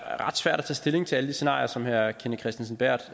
stilling til alle de scenarier som herre kenneth kristensen berth